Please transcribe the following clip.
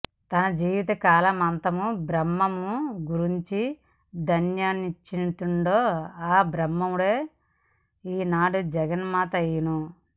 తన జీవిత కాలమంతయు బ్రహ్మమును గురించి ధ్యానించుచుండెనో ఆ బ్రహ్మమే ఈనాడు జగన్మాత అయ్యెను